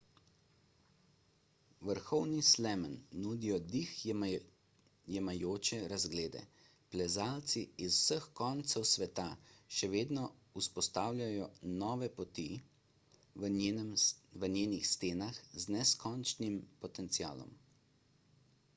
vrhovi slemen nudijo dih jemajoče razglede plezalci iz vseh koncev sveta še vedno vzpostavljajo nove poti v njenih stenah z neskončnim potencialom